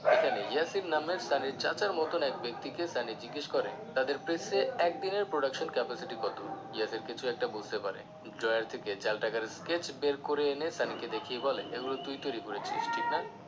যেখানে ইয়াসির নামে সানির চাচার মতন এক ব্যক্তিকে সানি জিজ্ঞেস করে তাঁদের প্রেসে একদিনের production capacity কত যাতে কিছু একটা বুঝতে পারে drawer থেকে জাল টাকার case বের করে এনে সানিকে দেখিয়ে বলে এগুলো তুই তৈরি করেছিস ঠিক না